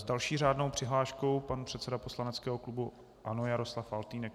S další řádnou přihláškou pan předseda poslaneckého klubu ANO Jaroslav Faltýnek.